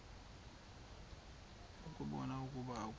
ukubona ukuba akukho